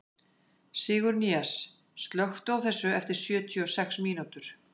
Sigurnýjas, slökktu á þessu eftir sjötíu og sex mínútur.